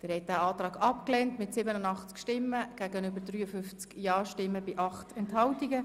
Sie haben den Ordnungsantrag abgelehnt mit 53 Ja- zu 87 Nein-Stimmen, bei 8 Enthaltungen.